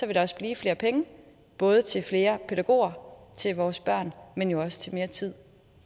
der også blive flere penge både til flere pædagoger til vores børn men jo også til mere tid